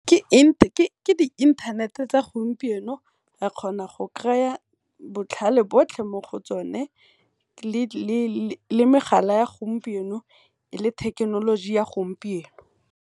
ke di inthanete tsa gompieno o a kgona go kry-a botlhale botlhe mo go tsone le megala ya gompieno le thekenoloji ya gompieno.